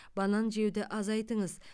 банан жеуді азайтыңыз